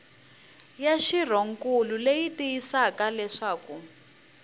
ya xirhonkulu leyi tiyisisaka leswaku